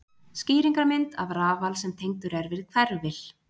Skýringarmynd af rafal sem tengdur er við hverfil.